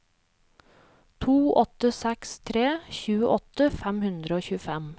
to åtte seks tre tjueåtte fem hundre og tjuefem